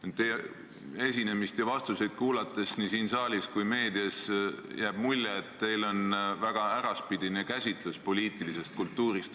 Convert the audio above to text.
Kuulates teie esinemist ja vastuseid nii siin saalis kui ka meedias, jääb mulje, et teil on väga äraspidine käsitlus poliitilisest kultuurist.